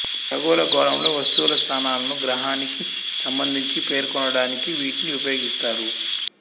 ఖగోళ గోళంలో వస్తువుల స్థానాలను గ్రహణానికి సంబంధించి పేర్కొనడానికి వీటిని ఉపయోగిస్తారు